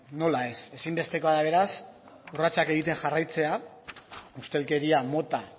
nola ez ezinbestekoa da beraz urratsak egiten jarraitzea ustelkeria mota